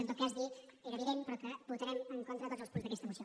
en tot cas dir era evident però que votarem en contra de tots els punts d’aquesta moció